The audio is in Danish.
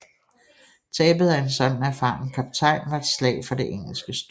Tabet af en sådan erfaren kaptajn var et slag for det engelske styre